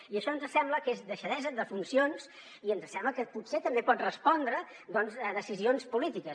i això ens sembla que és deixadesa de funcions i ens sembla que potser també pot respondre doncs a decisions polítiques